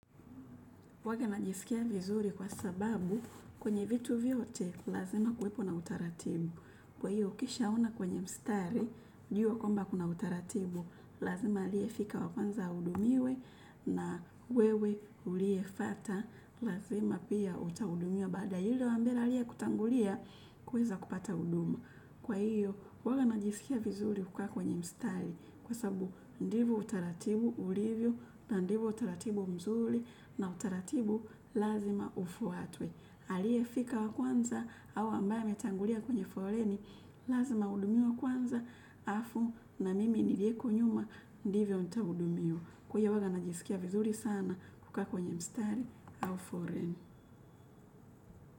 Kwake najiskia vizuri kwa sababu kwenye vitu vyote lazima kuwepo utaratibi kwa hiyo, ukishaona kwenye mstari, jua kwamba kuna utaratibu. Lazima aliye fika wa kwanza ahudumiwe, na wewe uliyefuata lazima pia utahudumiwa baadaye. Na aliyekutangulia kuweza kupata huduma kwa hiyo, huwa najisikia vizuri kukaa kwenye mstari kwa sababu ndivyo utaratibu ulivyo, na ndivyo utaratibu mzuri na utaratibu lazima ufuatwe. Aliyefika wa kwanza au ambaye ametangulia kwenye foleni, lazima ahudumiwe kwanza, halafu na mimi niliye nyuma ndivyo nitakavyohudumiwa. Kwa hivyo huwa najisikia vizuri sana kukaa kwenye mstari au foleni.